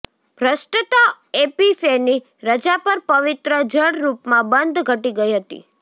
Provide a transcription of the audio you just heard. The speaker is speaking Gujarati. ભ્રષ્ટતા એપિફેની રજા પર પવિત્ર જળ રૂપમાં બંધ ઘટી ગઇ હતી